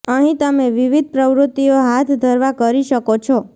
અહીં તમે વિવિધ પ્રવૃત્તિઓ હાથ ધરવા કરી શકો છો